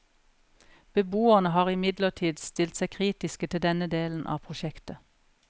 Beboerne har imidlertid stilt seg kritiske til denne delen av prosjektet.